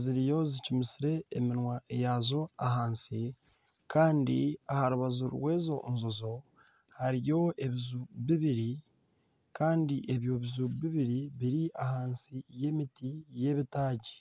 ziriyo zicumisire eminwa yazo ahansi kandi aha rubaju rw'ezo njojo hariyo ebiju bibiri. Kandi ebyo biju bibiri biri ahansi y'emiti y'ebitaagi.